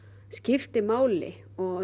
skiptir máli og